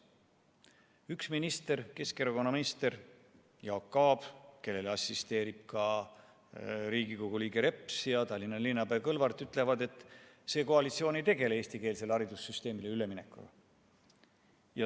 Üks minister, Keskerakonna minister Jaak Aab, ning tema kõrval ka Riigikogu liige Reps ja Tallinna linnapea Kõlvart ütlevad, et praegune koalitsioon ei tegele eestikeelsele haridussüsteemile üleminekuga.